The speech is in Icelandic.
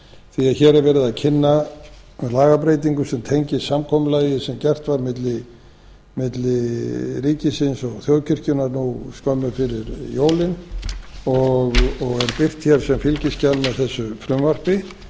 því að hér er verið að kynna lagabreytingu sem tengist samkomulagi sem gert var milli ríkisins og þjóðkirkjunnar nú skömmu fyrir jólin og er birt hér sem fylgiskjal með þessu frumvarpi